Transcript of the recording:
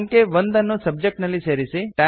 ಅಂಕೆ 1 ಅನ್ನು ಸಬ್ಜೆಕ್ಟ್ ನಲ್ಲಿ ಸೇರಿಸಿ